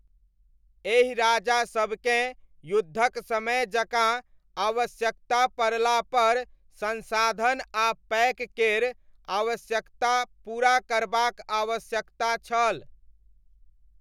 एहि राजासबकेँ युद्धक समय जकाँ आवश्यकता पड़लापर संसाधन आ पैक केर आवश्यकता पूरा करबाक आवश्यकता छल।